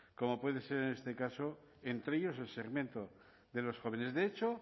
como puede ser en este caso entre ellos el segmento de los jóvenes de hecho